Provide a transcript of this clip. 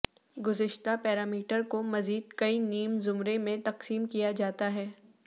گزشتہ پیرامیٹر کو مزید کئی نیم زمرے میں تقسیم کیا جاتا ہے